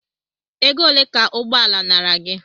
Ego ole ka ụgbọala nara gị?